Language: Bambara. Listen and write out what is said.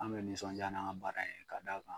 An be nisɔn ja n'an ka baara ye ka d'a kan